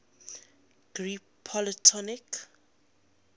greek polytonic